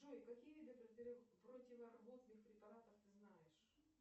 джой какие виды противорвотных препаратов ты знаешь